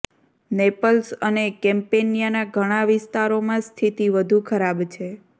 Nepalese અને કેમ્પેનિયાના ઘણા વિસ્તારોમાં સ્થિતિ વધુ ખરાબ છે